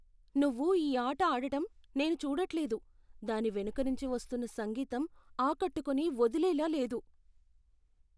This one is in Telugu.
నువ్వు ఈ ఆట ఆడటం నేను చూడట్లేదు. దాని వెనుక నుంచి వస్తున్న సంగీతం ఆకట్టుకొని వదిలేలా లేదు!